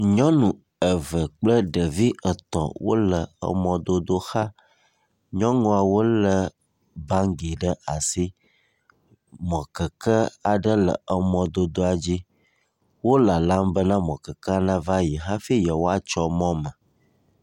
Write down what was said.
Nyɔnu eve kple ɖevi etɔ̃ wole emɔdodo xa. Nyɔnuawo lé bagi ɖe asi. Mɔkeke aɖe le emɔdodoa dzi, wolalam be mɔkekea nava yi hafi yewoatso mɔ me.